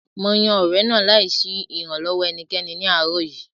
Mo yan ọ̀rẹ̀ náà láì sí ìrànlọ́wọ́ ẹnikẹ́ni ní àárọ̀ yìí